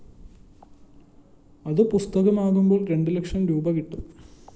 അതു പുസ്തകമാകുമ്പോള്‍ രണ്ടുലക്ഷംരൂപ കിട്ടും